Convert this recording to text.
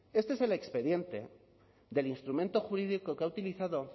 este es el expediente del instrumento jurídico que ha utilizado